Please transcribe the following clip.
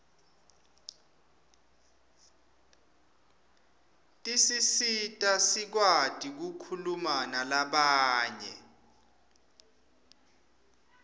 tisisita sikwati kukhuluma nalabanye